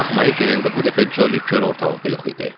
Daxmaya girəndə bu dəfə Joli kor ortalıqda yox idi.